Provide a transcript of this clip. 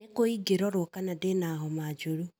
Nĩ kũ ingĩrorwo kana ndina homa njũru